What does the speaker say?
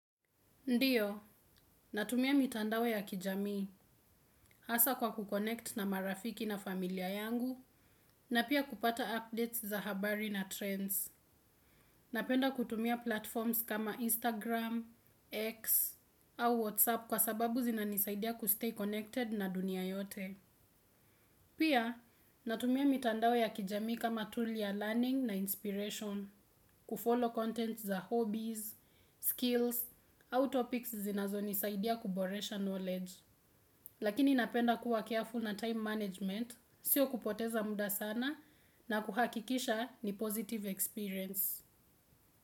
Ndiyo, natumia mitandao ya kijamii hasa kwa kuconnect na marafiki na familia yangu na pia kupata updates za habari na trends. Napenda kutumia platforms kama Instagram, X au WhatsApp kwa sababu zinanisaidia kustay connected na dunia yote. Pia, natumia mitandao ya kijamii kama tool ya learning na inspiration, kufollow content za hobbies, skills au topics zinazonisaidia kuboresha knowledge. Lakini napenda kuwa careful na time management, sio kupoteza muda sana na kuhakikisha ni positive experience.